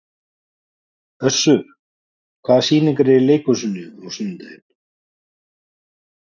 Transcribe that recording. Össur, hvaða sýningar eru í leikhúsinu á sunnudaginn?